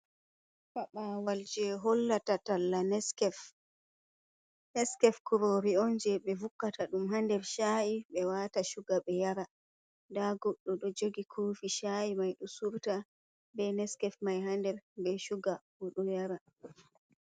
Fabawal je hollata talla neskef, naskef kurori on je ɓe vukata ɗum ha nder cha’i ɓe wata shuga ɓe yara nda goddto ɗo jogi kofi sha’i mai ɗo surta be neskef mai ha nder be shuga oɗo yara.